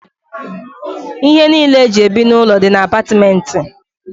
Ihe niile eji ebi n'ụlọ dị na apatìmenti.